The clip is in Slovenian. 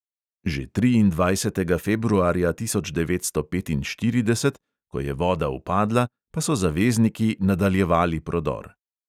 Že triindvajsetega februarja tisoč devetsto petinštirideset, ko je voda upadla, pa so zavezniki nadaljevali prodor.